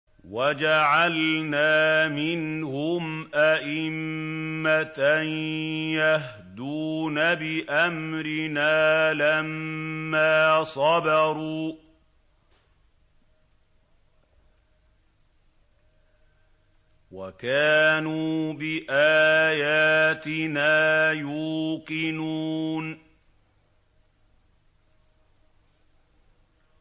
وَجَعَلْنَا مِنْهُمْ أَئِمَّةً يَهْدُونَ بِأَمْرِنَا لَمَّا صَبَرُوا ۖ وَكَانُوا بِآيَاتِنَا يُوقِنُونَ